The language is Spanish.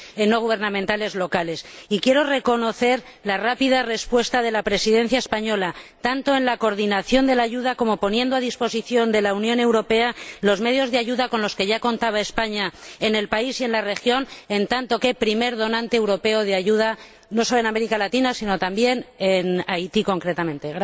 no gubernamentales locales. Y quiero reconocer la rápida respuesta de la Presidencia española, tanto en la coordinación de la ayuda como en la puesta a disposición de la Unión Europea de los medios de ayuda con los que ya contaba España en el país y en la región, en tanto que primer donante europeo de ayuda, no sólo en América Latina, sino también en Haití concretamente.